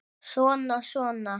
Svona, svona